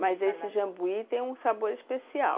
Mas esse jambuí tem um sabor especial.